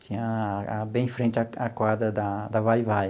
Tinha bem em frente à à quadra da da Vai-Vai.